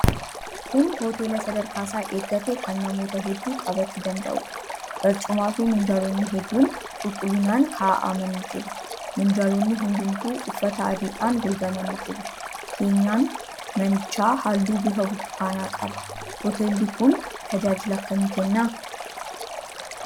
Kun hoteela sadarkaa isaa eeggate kan namoota hedduu qabachuu danda'uudha. Barcumaafi minjaalonni hedduun qulqullinaan kaa'amanii jiru. Minjaalonni hundumtuu uffata adiidhaan golgamanii jiru. Keenyan manichaa halluu bifa burtukaanaa qaba. Hoteelli kun tajaajila akkamii kenna?